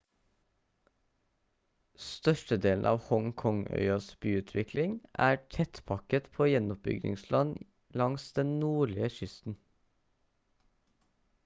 størstedelen av hong kong-øyas byutvikling er tettpakket på gjenoppbyggingsland langs den nordlige kysten